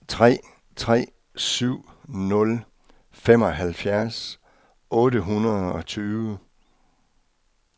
tre tre syv nul femoghalvfjerds otte hundrede og tyve